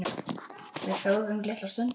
Við þögðum litla stund.